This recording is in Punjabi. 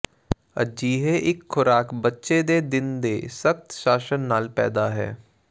ਅਜਿਹੇ ਇੱਕ ਖ਼ੁਰਾਕ ਬੱਚੇ ਦੇ ਦਿਨ ਦੇ ਸਖਤ ਸ਼ਾਸਨ ਨਾਲ ਪੈਦਾ ਹੈ